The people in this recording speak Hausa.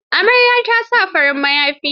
Amaryar ta sa farin mayafi.